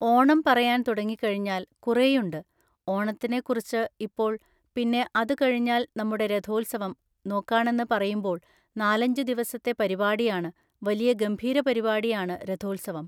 ഓണം പറയാൻ തുടങ്ങിക്കഴിഞ്ഞാൽ കുറേയുണ്ട് ഓണത്തിനെക്കുറിച്ച് ഇപ്പോൾ പിന്നെ അത് കഴിഞ്ഞാൽ നമ്മുടെ രഥോത്സവം നോക്കാണെന്ന് പറയുമ്പോൾ നാലഞ്ചു ദിവസത്തെ പരിപാടിയാണ് വലിയ ഗംഭീര പരിപാടിയാണ് രഥോത്സവം